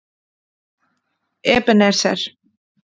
Ebenezer